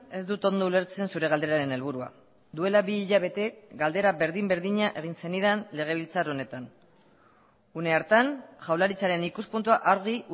ez dut ondo ulertzen zure galderaren helburua duela bi hilabete galdera berdin berdina egin zenidan legebiltzar honetan une hartan jaurlaritzaren ikuspuntua argi